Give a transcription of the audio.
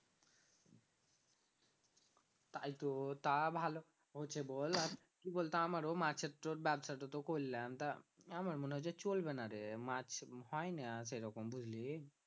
তাইতো, তা ভালো হচ্ছে বল আর কি বলতো আমারও মাছের তোর ব্যবসাটো তো করলাম তা আমার মনে হয় যে চলবে না রে মাছ হয় না সেরকম বুঝলি